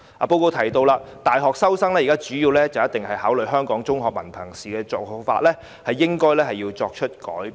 報告亦提到，大學收生主要考慮香港中學文憑考試成績的現行做法應該改變。